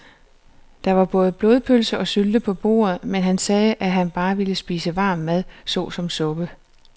Der var både blodpølse og sylte på bordet, men han sagde, at han bare ville spise varm mad såsom suppe.